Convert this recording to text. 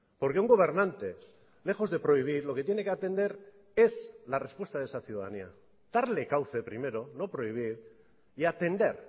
porque un gobernante lejos de prohibir lo que tiene que atender es la respuesta de esa ciudadanía darle cauce primero no prohibir y atender